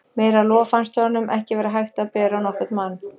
Meira lof fannst honum ekki vera hægt að bera á nokkurn mann.